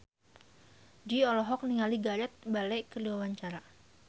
Jui olohok ningali Gareth Bale keur diwawancara